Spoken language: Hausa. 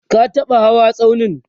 ka taɓa hawa tsaunin?